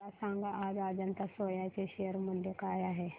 मला सांगा आज अजंता सोया चे शेअर मूल्य काय आहे